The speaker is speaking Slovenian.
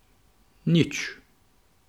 Nič.